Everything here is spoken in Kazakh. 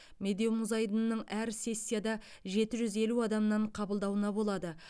медеу мұз айдынының әр сессияда жеті жүз елу адамнан қабылдауына болады